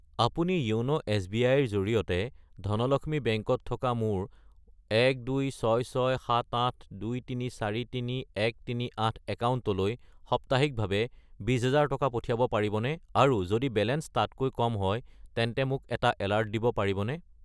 আপুনি য়োন' এছ.বি.আই. -ৰ জৰিয়তে ধনলক্ষ্মী বেংক -ত থকা মোৰ 1266782343138 একাউণ্টলৈ সাপ্তাহিকভাৱে 20000 টকা পঠিয়াব পাৰিবনে আৰু যদি বেলেঞ্চ তাতকৈ কম হয় তেন্তে মোক এটা এলাৰ্ট দিব পাৰিবনে?